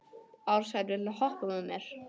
Ársæll, viltu hoppa með mér?